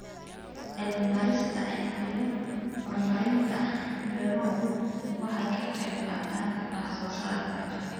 Cilmi baarista iyo horumarinta beeruhu waxay ka qayb qaataan wax soo saarka.